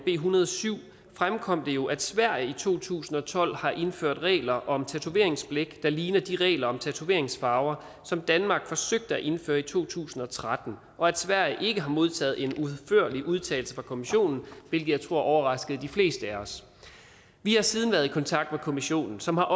en hundrede og syv fremkom det jo at sverige i to tusind og tolv har indført regler om tatoveringsblæk der ligner de regler om tatoveringsfarver som danmark forsøgte at indføre i to tusind og tretten og at sverige ikke har modtaget en udførlig udtalelse fra kommissionen hvilket jeg tror overraskede de fleste af os vi har siden været i kontakt med kommissionen som har